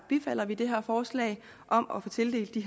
bifalder vi det her forslag om at tildele de